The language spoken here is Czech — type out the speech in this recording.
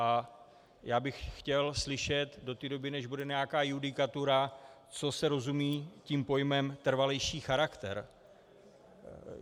A já bych chtěl slyšet do té doby, než bude nějaká judikatura, co se rozumí tím pojmem "trvalejší charakter".